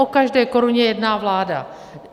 O každé koruně jedná vláda.